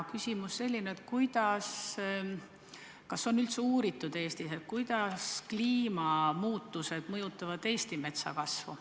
Küsimus on selline, et kas Eestis on üldse uuritud, kuidas kliimamuutused mõjutavad siinse metsa kasvu.